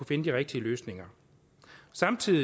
finde de rigtige løsninger samtidig